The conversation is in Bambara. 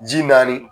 Ji naani